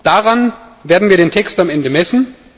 Daran werden wir den Text am Ende messen.